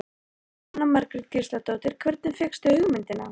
Jóhanna Margrét Gísladóttir: Hvernig fékkstu hugmyndina?